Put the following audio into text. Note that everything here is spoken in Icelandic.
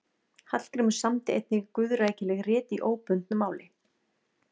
Hallgrímur samdi einnig guðrækileg rit í óbundnu máli.